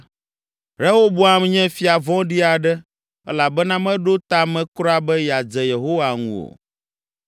Rehoboam nye fia vɔ̃ɖi aɖe elabena meɖo ta me kura be yeadze Yehowa ŋu o.